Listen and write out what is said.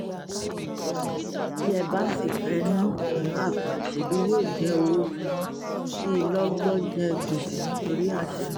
bí ẹ bá sì fẹ́ẹ́ ná ìná àpà ṣebí yóò jẹ́ owó tiyín kí lọ́gbọ́ jẹ gbèsè nítorí àṣehàn